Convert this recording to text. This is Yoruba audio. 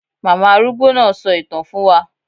Màmá arúgbó náà sọ ìtàn fún wa